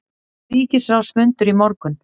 Ríkisráðsfundur í morgun